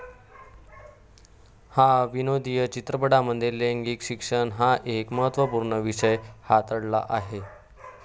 ह्या विनोदी चित्रपटामध्ये लैंगिक शिक्षण हा एक महत्वपूर्ण विषय हाताळला आहे.